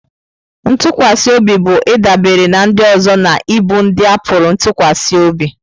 Ntụkwasị obi bụ ịdabere na ndị ọzọ na ịbụ ndị a pụrụ ịtụkwasị obi.